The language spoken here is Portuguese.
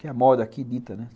Que é a moda aqui dita, né?